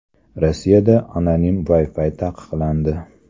Rossiyada anonim Wi-Fi taqiqlandi.